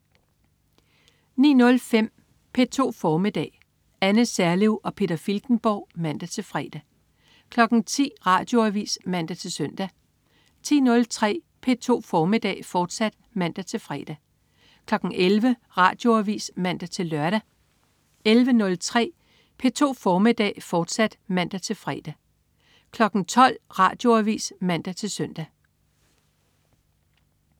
09.05 P2 formiddag. Anne Serlev og Peter Filtenborg (man-fre) 10.00 Radioavis (man-søn) 10.03 P2 formiddag, fortsat (man-fre) 11.00 Radioavis (man-lør) 11.03 P2 formiddag, fortsat (man-fre) 12.00 Radioavis (man-søn)